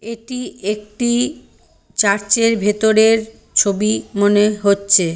এটি একটি চার্চ -এর ভেতরের ছবি মনে হচ্ছে।